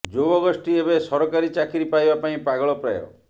ଯୁବଗୋଷ୍ଠୀ ଏବେ ସରକାରୀ ଚାକିରି ପାଇବା ପାଇଁ ପାଗଳ ପ୍ରାୟ